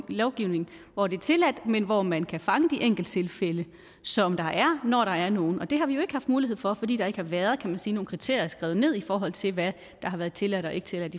lovgivning hvor det er tilladt men hvor man kan fange de enkelttilfælde som der er når der er nogle og det har vi jo ikke haft mulighed for fordi der ikke har været nogen kriterier skrevet ned i forhold til hvad der har været tilladt og ikke tilladt